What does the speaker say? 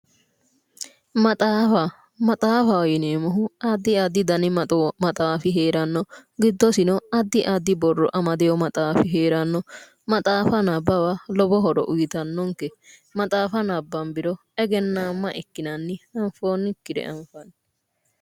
Maxaafa, maxaafaho yineemmohu addi addi dani maxaafi heeranno giddosino addi addi borro amadewo maxaafi heeranno maxaafa nabbawa lowo horo uuyiitannonke. maxaafa nabbanbiro egennaamma ikkinanni. anfoonnikkire anfanni.